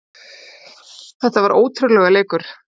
Þetta var ótrúlegur leikur